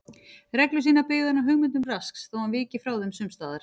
Reglur sínar byggði hann á hugmyndum Rasks þótt hann viki frá þeim sums staðar.